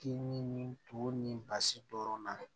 K'i ni to ni basi dɔrɔn na